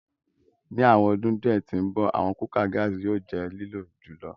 Ni awọn ọdun diẹ ti ǹbọ, awọn kukạ gaasi yóò jẹ lilo jùlọ